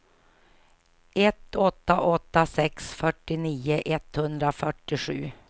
ett åtta åtta sex fyrtionio etthundrafyrtiosju